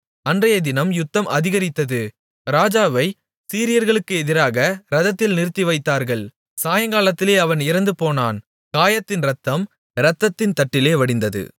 அன்றையதினம் யுத்தம் அதிகரித்தது ராஜாவைச் சீரியர்களுக்கு எதிராக இரதத்தில் நிறுத்திவைத்தார்கள் சாயங்காலத்திலே அவன் இறந்துபோனான் காயத்தின் இரத்தம் இரதத்தின் தட்டிலே வடிந்தது